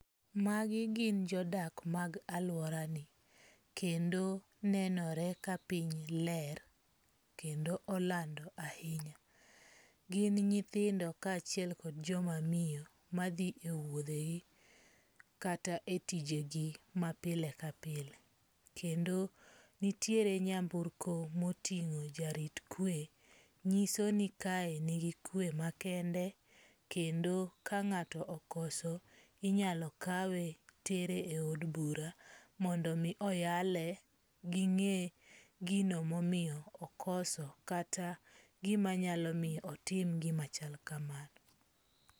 Magi gin jodak mag alworani, kendo nenore kapiny ler kendo olando ahinya. Gin nyithindo kaachiel kod joma miyo madhi e wuodhegi kata e tijegi ma pile ka pile. Kendo nitie nyamburko moting'o jarit kwe. Nyiso ni kae nigi kwe makende kendo ka ng'ato okoso inyalo kawe tere eod bura mondo mi oyale ging'e gino momiyo okoso. Kata gima nyalo mi otim gima chal kamano.